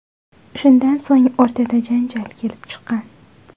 Shundan so‘ng o‘rtada janjal kelib chiqqan.